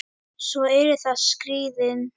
Svo eru það skíðin.